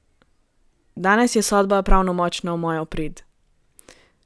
Danes je sodba pravnomočna v mojo prid!